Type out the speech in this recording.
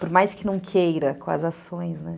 Por mais que não queira com as ações, né?